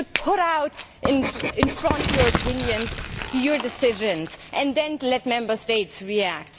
You should set out in front your opinions, your decisions, and then let Member States react.